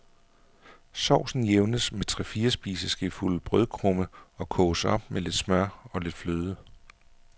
Sovsen jævnes med tre-fire spiseskefulde brødkrumme, og koges op med lidt smør og lidt fløde.